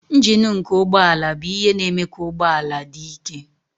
Njin nke ụgbọ ala bụ ihe na-eme ka ụgbọ ala dị ike.